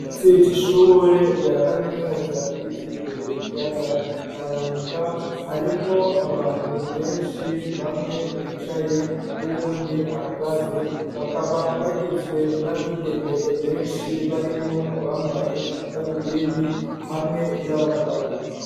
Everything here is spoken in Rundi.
Ikirasi c'shure rya kaminuza bitiriwe ikiyaga tanganika harimwo abantu benshi bamwe bicaye n'uwundi ahagaze bakaba bagizwe n'abigeme benshi barimwo abambaye amadarubindi hamwe n'abagabo.